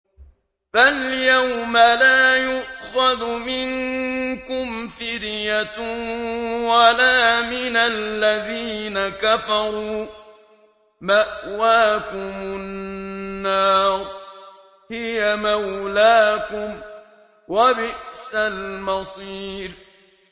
فَالْيَوْمَ لَا يُؤْخَذُ مِنكُمْ فِدْيَةٌ وَلَا مِنَ الَّذِينَ كَفَرُوا ۚ مَأْوَاكُمُ النَّارُ ۖ هِيَ مَوْلَاكُمْ ۖ وَبِئْسَ الْمَصِيرُ